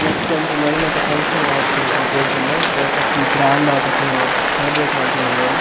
ನೆತ್ತೊಂಜಿ ಮಡಿಮೆದ ಫಂಕ್ಷನ್ ಆಯಿತ್ತಿನಲಕ ತೋಜುಂಡು ಒಲ್ಪ ಫುಲ್ಲ್ ಗ್ರ್ಯಾಂಡ್ ಆದ್ ಅಕುಲು ಸೆಲೆಬ್ರೇಟ್ ಮಂತೊಂದುಲ್ಲೆರ್.